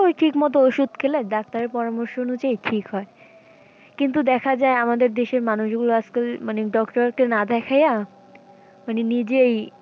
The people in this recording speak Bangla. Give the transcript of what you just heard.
ও ঠিক মতো ওষুধ খেলে ডাক্তারের পরামর্শ অনুযায়ী ঠিক হয়। কিন্তু দেখা যায় আমাদের দেশের মানুষ গুলো আজকাল মানে doctor কে না দেখাইয়া মানে নিজেই,